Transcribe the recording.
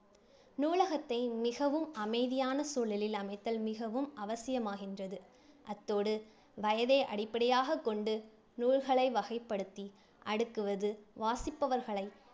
நூலகத்தை மிகவும் அமைதியான சூழலில் அமைத்தல் மிகவும் அவசியமாகின்றது. அத்தோடு வயதை அடிப்படையாகக் கொண்டு நூல்களை வகைப்படுத்தி அடுக்குவது வாசிப்பவர்களை